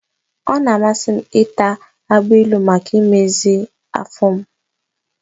Ọ na-amasị m ịta agbailu maka imezi m afọ.